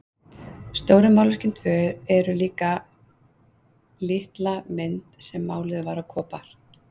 Stóru málverkin tvö en líka litla mynd sem máluð var á kopar.